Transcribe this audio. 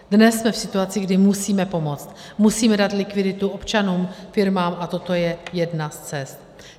Dnes jsme v situaci, kdy musíme pomoct, musíme dát likviditu občanům, firmám, a toto je jedna z cest.